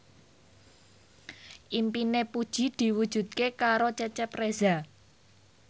impine Puji diwujudke karo Cecep Reza